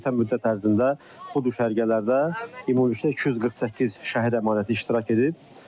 Ötən müddət ərzində bu düşərgələrdə ümumilikdə 248 şəhid əmanəti iştirak edib.